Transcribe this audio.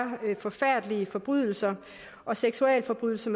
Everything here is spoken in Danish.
forfærdelige forbrydelser og seksualforbrydelser